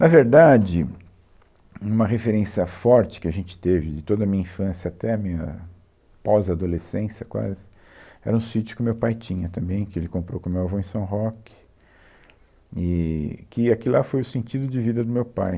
Na verdade, uma referência forte que a gente teve de toda a minha infância até a minha pós-adolescência quase, era um sítio que o meu pai tinha também, que ele comprou com o meu avô em São Roque, eee que aquilo lá foi o sentido de vida do meu pai.